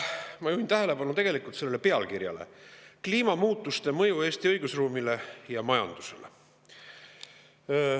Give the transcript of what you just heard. Ma juhin tähelepanu sellele pealkirjale "Kliimamuutuste mõju Eesti õigusruumile ja majandusele".